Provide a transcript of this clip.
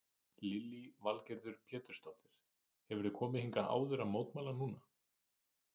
Lillý Valgerður Pétursdóttir: Hefurðu komið hingað áður að mótmæla núna?